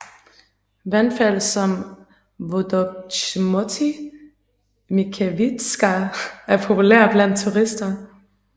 Vandfald som Wodogrzmoty Mickiewicza er populære blandt turister